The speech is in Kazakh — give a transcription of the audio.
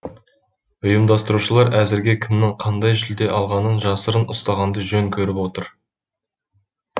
ұйымдастырушылар әзірге кімнің қандай жүлде алғанын жасырын ұстағанды жөн көріп отыр